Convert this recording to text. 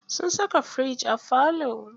Sun saka firiji a falo.